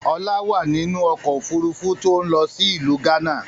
Ọlá wá nínú ọkọ̀ Òfurufú tí ó ń lọ sí ìlú gánà